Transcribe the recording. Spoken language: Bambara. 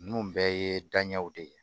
Ninnu bɛɛ ye daɲɛw de ye